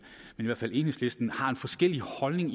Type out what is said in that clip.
i hvert fald enhedslisten har en forskellig holdning